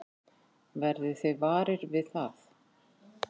Verðið þið varir við það?